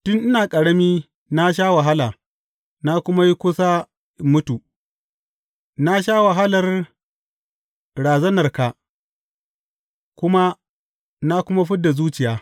Tun ina ƙarami na sha wahala na kuma yi kusa in mutu; na sha wahalar razanarka kuma na kuma fid da zuciya.